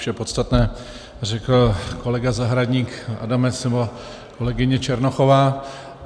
Vše podstatné řekl kolega Zahradník, Adamec nebo kolegyně Černochová.